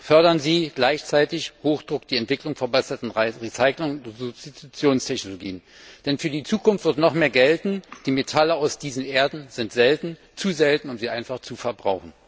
Fördern Sie gleichzeitig mit Hochdruck die Entwicklung verbesserter Recycling und Substitutionstechnologien, denn für die Zukunft wird noch mehr gelten Die Metalle aus diesen Erden sind selten zu selten, um sie einfach zu verbrauchen.